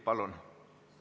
Palun!